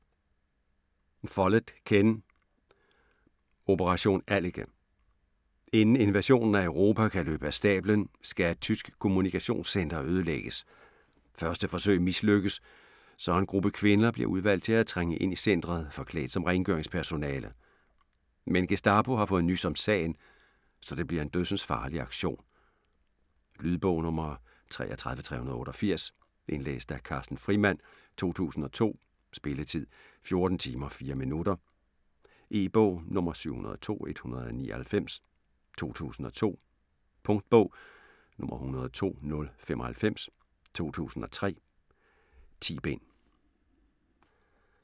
Follett, Ken: Operation Allike Inden invasionen af Europa kan løbe af stablen skal et tysk kommunikationscenter ødelægges. Første forsøg mislykkes, så en gruppe kvinder bliver udvalgt til at trænge ind i centret forklædt som rengøringspersonale. Men Gestapo har fået nys om sagen, så det bliver en dødsensfarlig aktion. Lydbog 33388 Indlæst af Carsten Frimand, 2002. Spilletid: 14 timer, 4 minutter. E-bog 702199 2002. Punktbog 102095 2003. 10 bind.